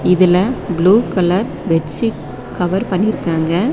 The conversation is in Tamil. இதுல ப்ளூ கலர் பெட்ஷீட் கவர் பண்ணிருக்காங்க.